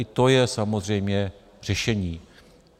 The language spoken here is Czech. I to je samozřejmě řešení.